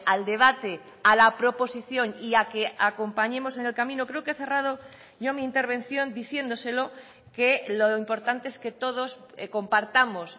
al debate a la proposición y a que acompañemos en el camino creo que he cerrado yo mi intervención diciéndoselo que lo importante es que todos compartamos